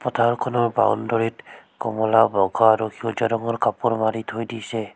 পথাৰখনৰ বাউনডৰিত কমলা বগা আৰু সেউজীয়া ৰঙৰ কাপোৰ মাৰি থৈ দিছে।